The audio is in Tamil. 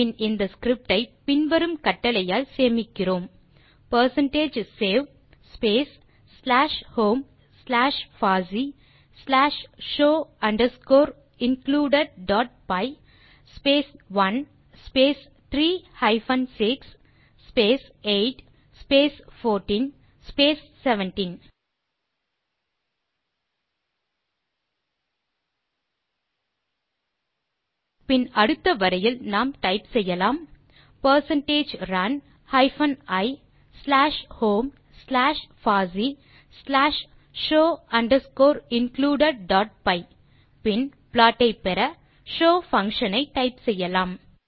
பின் இந்த ஸ்கிரிப்ட் ஐ பின்வரும் கட்டளையால் சேமிக்கிறோம் percentage save space slash home slash FOSSEE slash show underscore included dot py space 1 space 3 hyphen 6 space 8 space 14 space 17 பின் அடுத்த வரியில் நாம் டைப் செய்யலாம் percentage run hyphen i slash home slash FOSSEE slash show underscore included dot py பின்னர் ப்ளாட் ஐ பெற ஷோவ் பங்ஷன் ஐ டைப் செய்யலாம்